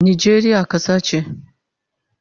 Najeriya kasa che